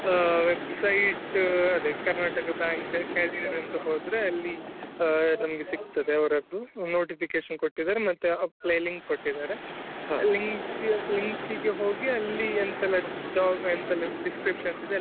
ಆ website ಅದೇ karnataka bank career ಅಂತ ಹೋದ್ರೆ ಅಲ್ಲಿ ನಮ್ಗೆ ಸಿಗ್ತದೆ ಅವ್ರದ್ದು notification ಕೊಟ್ಟಿದಾರೆ ಮತ್ತೆ apply link ಕೊಟ್ಟಿದಾರೆlink ಗೆ ಹೋಗಿ ಅಲ್ಲಿ ಎಂತೆಲ್ಲ job discriptionsಇದೆ ಎಲ್ಲ.